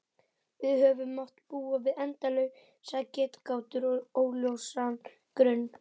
Við höfum mátt búa við endalausar getgátur og óljósan grun.